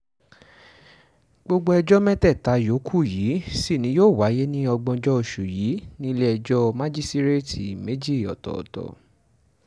gbogbo ẹjọ́ mẹ́tẹ̀ẹ̀ta yòókù yìí sì ni yóò wáyé ní ògbóǹjọ oṣù yìí nílẹ̀-ẹjọ́ májísíréètì méjì ọ̀tọ̀ọ̀tọ̀